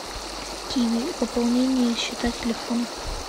киви пополнение счета телефона